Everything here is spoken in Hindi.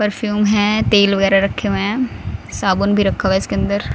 परफ्यूम हैं तेल वगैरा रखे हुए हैं साबुन भी रखा हुआ है इसके अंदर--